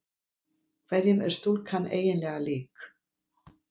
Hverjum er stúlkan eiginlega lík?